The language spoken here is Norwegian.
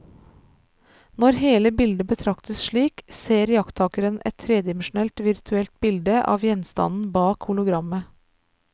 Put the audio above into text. Når hele bildet betraktes slik, ser iakttakeren et tredimensjonalt virtuelt bilde av gjenstanden bak hologrammet.